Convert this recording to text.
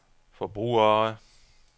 forbrugere